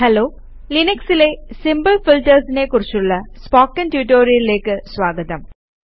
hello ലിനക്സിലെ simple ഫീൽട്ടേര്സിനെ കുറിച്ചുള്ള സ്പോക്കൺ റ്റ്യൂട്ടോറിയലിലേക്ക് സ്വാഗതം